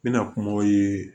N bɛna kumaw ye